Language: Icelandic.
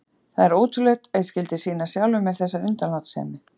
Það er ótrúlegt að ég skyldi sýna sjálfum mér þessa undanlátssemi.